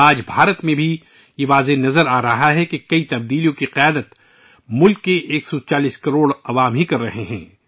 آج بھارت میں صاف نظر آرہا ہے کہ ملک کے 140 کروڑ عوام کی قیادت میں بہت سی تبدیلیاں آ رہی ہیں